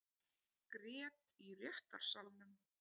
Grét í réttarsalnum